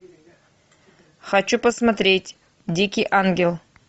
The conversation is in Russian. хочу посмотреть дикий ангел